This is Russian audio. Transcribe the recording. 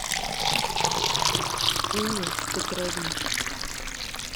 инне петровне